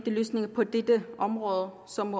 løsninger på dette område som